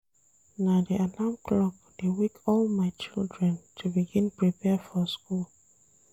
Na di alarm clock dey wake all my children to begin prepare for school.